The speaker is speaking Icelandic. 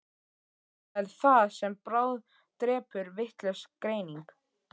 Og það er það sem bráðdrepur, vitlaus greining.